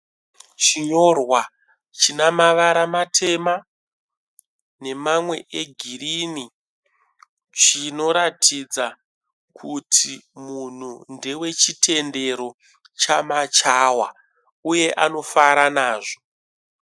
Chinyorwa china mavara matema nemamwe e girini. Chinoratidza kuti munhu ndewe chitendero chama chawa uye anofara nazvo.